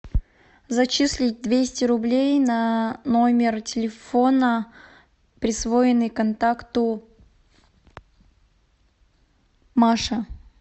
зачислить двести рублей на номер телефона присвоенный контакту маша